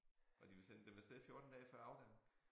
Og de ville sende dem af sted 14 dage før afgang